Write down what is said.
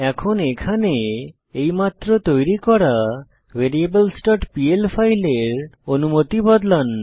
এখন এখানে এইমাত্র তৈরী করা variablesপিএল ফাইলের অনুমতি বদলান